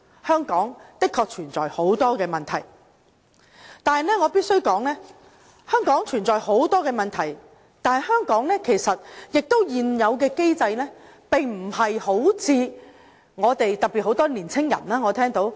香港的確存在很多問題，但是，我必須指出，雖然香港存在很多問題，但現有機制並非如我們，特別很多年輕人所說般差劣。